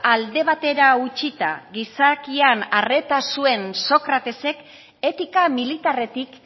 alde batera utzita gizakian arreta zuen sócratesek etika militarretik